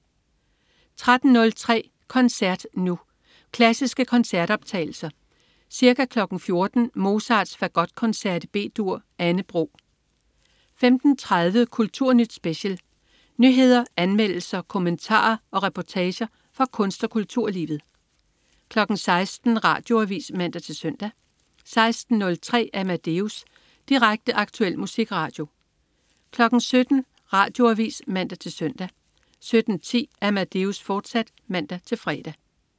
13.03 Koncert Nu. Klassiske koncertoptagelser. Ca. 14.00 Mozarts Fagotkoncert B-dur. Anne Bro 15.30 Kulturnyt Special. Nyheder, anmeldelser, kommentarer og reportager fra kunst- og kulturlivet 16.00 Radioavis (man-søn) 16.03 Amadeus. Direkte, aktuel musikradio 17.00 Radioavis (man-søn) 17.10 Amadeus, fortsat (man-fre)